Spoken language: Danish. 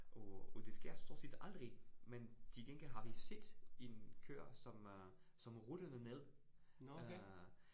Og, og det sker stort set aldrig, men til gengæld har vi set en køer, som øh som rullede ned øh